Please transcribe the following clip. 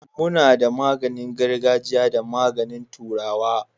mu na da magin gargajia da magani turawa.